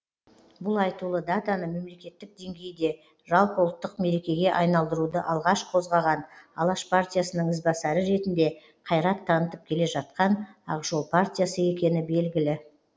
бұл айтулы датаны мемлекеттік деңгейде жалпыұлттық мерекеге айналдыруды алғаш қозғаған алаш партиясының ізбасары ретінде қайрат танытып келе жатқан ақ жол партиясы екені белгілі